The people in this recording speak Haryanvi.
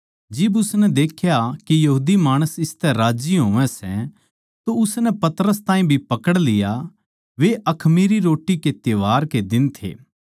जिब उसनै देख्या के यहूदी माणस इसतै राज्जी होवै सै तो उसनै पतरस ताहीं भी पकड़ लिया वे अखमीरी रोट्टी के त्यौहार के दिन थे